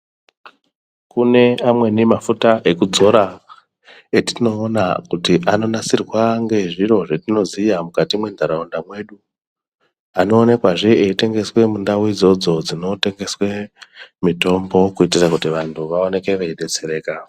Kune amweni mafuta ekudzora etinoona kuti anonasirwa ngezviro zvetinoziya mukati mwentaraunda mwedu. Anoonekazve eitengeswa mundau idzodzo dzinotengeswe mitombo kuitira kuti vantu vaoneke veidetsereka.